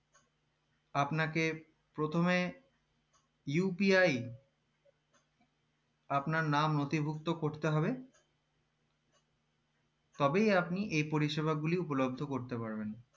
আপনাকে প্রথমে UPI আপনার নাম নথিভুক্ত করতে হবে তবেই আপনি এই পরিষেবাগূলি উপলব্দ করতে পারবেন